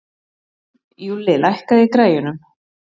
Júlli, lækkaðu í græjunum.